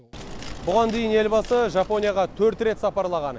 бұған дейін елбасы жапонияға төрт рет сапарлаған